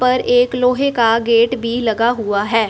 पर एक लोहे का गेट भी लगा हुआ है।